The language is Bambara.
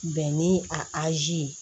Bɛn ni azi ye